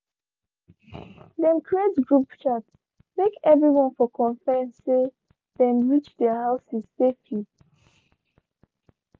dem creat group chat make everyone for confirm say them reach their houses safely.